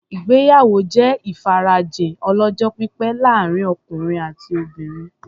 Ìgbéyàwó jẹ́ ìfarajìn ọlọ́jọ́-pípẹ́ láàrin ọkùnrin àti obìnrin.